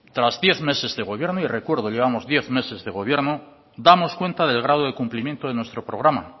tras diez meses de gobierno y recuerdo llevamos diez meses de gobierno damos cuenta del grado de cumplimiento de nuestro programa